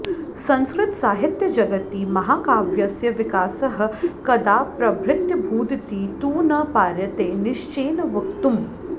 संस्कृतसाहित्यजगति महाकाव्यस्य विकासः कदाप्रभृत्यभूदिति तु न पार्यते निश्चयेन वक्तुम्